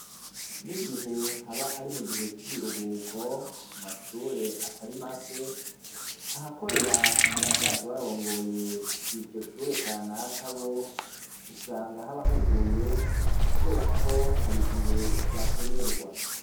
N'igihe haba ari mu gihe c'ibiruhuko, ku mashure atari make ahakorera abasanzwe barongoye iryo shure kanakabo, bo usanga haba huguruye kubera ko hari gihe bakenerwa.